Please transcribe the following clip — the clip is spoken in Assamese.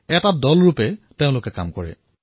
এটা দলৰ হিচাপত কাম কৰে